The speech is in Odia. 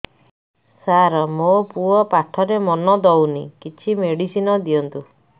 ସାର ମୋର ପୁଅ ପାଠରେ ମନ ଦଉନି କିଛି ମେଡିସିନ ଦିଅନ୍ତୁ